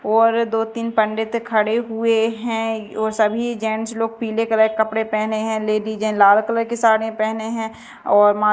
और दो तीन पंडित खड़े हुए हैं और सभी जेंट्स लोग पीले कलर कपड़े पहने हैं लेडिस लाल कलर की साड़ी पहने हैं और--